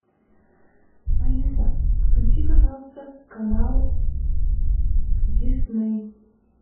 алиса включи пожалуйста канал дисней